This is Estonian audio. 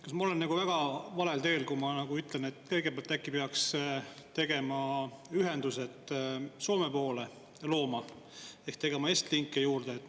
Kas ma olen väga valel teel, kui ma ütlen, et kõigepealt äkki peaks tegema ühendused Soome poole ehk tegema Estlinke juurde?